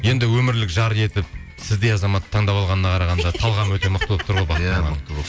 енді өмірлік жар етіп сіздей азаматты таңдап алғанына қарағанда талғамы өте мықты болып тұр ғой